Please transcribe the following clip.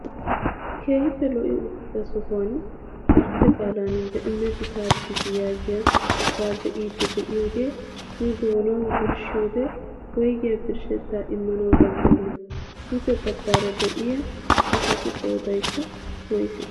Keehippe lo"i uttida sohuwaan gartte qaalan "BEEMNET TRADING" yaagiyaa be'iidi de'iyoogee nu doonawu birshshiyoode woygiyaa birshshettaa immanawu danddayii? duge baggaara de'iyaa asatu qoodaykka woysee?